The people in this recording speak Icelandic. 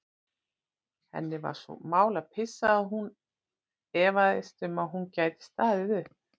Henni var svo mál að pissa að hún efaðist um að hún gæti staðið upp.